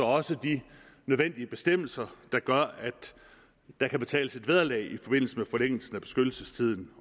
også de nødvendige bestemmelser der gør at der kan betales et vederlag i forbindelse med forlængelsen af beskyttelsestiden